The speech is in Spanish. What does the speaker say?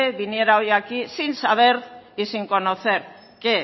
viniera hoy aquí sin saber y sin conocer que